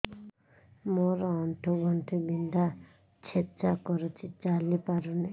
ମୋର ଆଣ୍ଠୁ ଗଣ୍ଠି ବିନ୍ଧା ଛେଚା କରୁଛି ଚାଲି ପାରୁନି